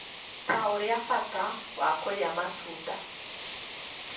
ta ũrĩa bata wa kũrĩa matunda,